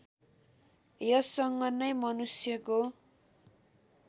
यससँग नै मनुष्यको